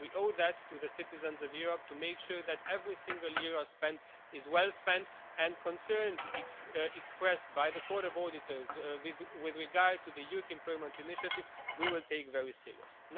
We owe it to the citizens of Europe to make sure that every single euro spent is well spent, and concerns expressed by the Court of Auditors with regard to the Youth Employment initiative we will take very seriously.